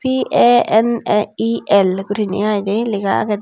P_A_N_A_E_L guriney iy de lega agede.